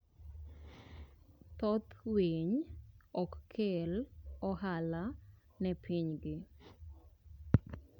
Thoth winy ok kel ohala ne pinygi.